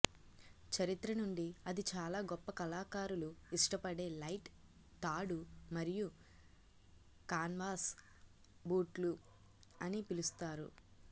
చరిత్ర నుండి అది చాలా గొప్ప కళాకారులు ఇష్టపడే లైట్ తాడు మరియు కాన్వాస్ బూట్లు అని పిలుస్తారు